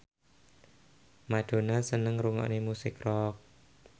Madonna seneng ngrungokne musik rock